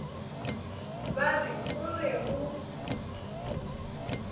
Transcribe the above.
ba re o be o